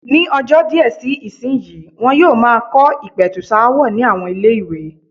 Ní ọjọ́ díẹ̀ sí ìsìnyí, wọn yóò máa kọ́ ìpẹ̀tùsááwọ̀ ní àwọn ilé-ìwé.